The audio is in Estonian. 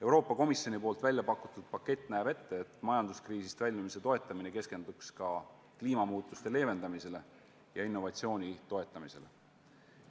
Euroopa Komisjoni väljapakutud pakett näeb ette, et majanduskriisist väljumise toetamine keskenduks ka kliimamuutuste leevendamisele ja innovatsiooni edendamisele.